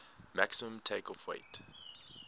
maximum takeoff weight